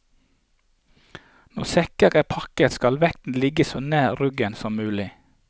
Når sekker er pakket, skal vekten ligge så nær ryggen som mulig.